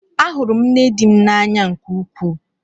Ahụrụ m nne di m n'anya nke ukwuu.